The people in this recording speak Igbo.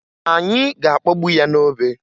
Anyị ga-akpọgbu ya n'obe